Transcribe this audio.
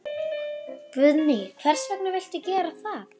Guðný: Hvers vegna viltu gera það?